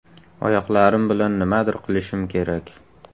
Oyoqlarim bilan nimadir qilishim kerak.